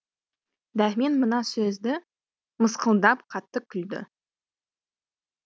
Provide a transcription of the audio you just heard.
дәрмен мына сөзді мысқылдап қатты күлді